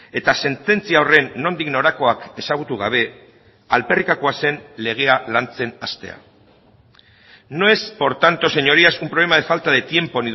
eta sententzia horren nondik norakoak ezagutu gabe alferrikakoa zen legea lantzen hastea no es por tanto señorías un problema de falta de tiempo